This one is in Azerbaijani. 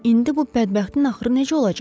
indi bu bədbəxtin axırı necə olacaq?